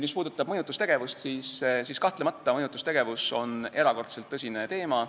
Mis puudutab mõjutustegevust, siis kahtlemata on see erakordselt tõsine teema.